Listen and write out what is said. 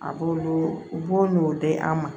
A b'olu u b'o ɲ'o di an ma